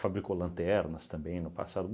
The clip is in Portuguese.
lanternas também no passado.